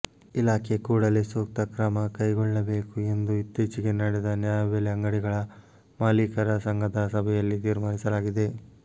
ಇಲಾಖೆ ಕೂಡಲೇ ಸೂಕ್ತ ಕ್ರಮ ಕೆಗೊಳ್ಳಬೇಕು ಎಂದು ಇತ್ತೀಚೆಗೆ ನಡೆದ ನ್ಯಾಯಬೆಲೆ ಅಂಗಡಿಗಳ ಮಾಲೀಕರ ಸಂಘದ ಸಭೆಯಲ್ಲಿ ತೀರ್ಮಾನಿಸಲಾಗಿದೆ